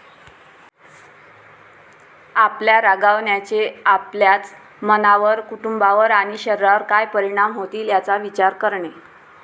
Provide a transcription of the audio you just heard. आपल्या रागावण्याचे आपल्याच मनावर, कुटुंबावर आणि शरीरावर काय परिणाम होतील, याचा विचार करणे.